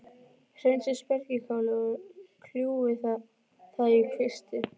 Hreinsið spergilkálið og kljúfið það í kvisti.